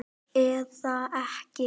Eða ekki!